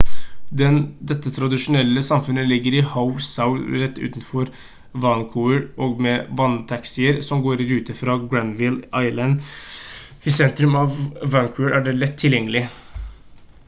dette tradisjonelle samfunnet ligger i howe sound rett utenfor vancouver og med vanntaxier som går i rute fra granville island i sentrum av vancouver er det lett tilgjengelig